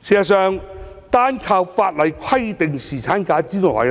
事實上，單靠法例規定侍產假之外，